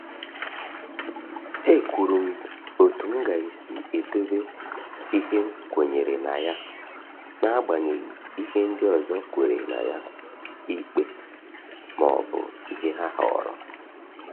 E kwuru m otú m ga-esi edobe ihe m kwenyere na ya n’amaghi ìhè ndị ọzọ kwèrè ná ya ikpe ma ọ bụ ìhè ha họrọ